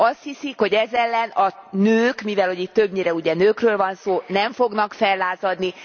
Azt hiszik, hogy ez ellen a nők mivel hogy itt többnyire ugye nőkről van szó nem fognak fellázadni.